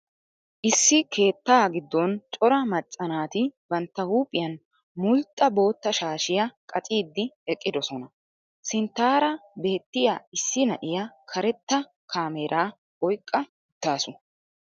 Issi keettaa giddon cora macca naati bantta huuphiyan mulxxa boottaa shaashiya qaccidi eqqidosona. Sinttaara beetiya issi na'iya karettaa caameera oyqqa uttaasu.